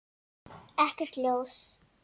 Ekkert ljós.